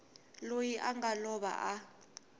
loyi a nga lova a